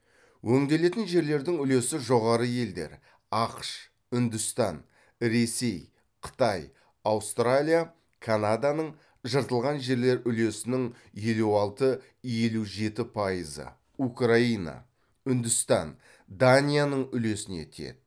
өңделетін жерлердің үлесі жоғары елдер ақш үндістан ресей қытай аустралия канаданың жыртылған жерлер үлесінің елу алты елу еті пайызы украина үндістан данияның үлесіне тиеді